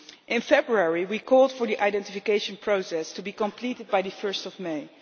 In February we called for the identification process to be completed by 1 May.